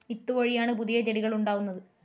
വിത്തുവഴിയാണ് പുതിയ ചെടികൾ ഉണ്ടാവുന്നത്.